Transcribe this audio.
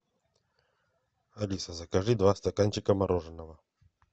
алиса закажи два стаканчика мороженого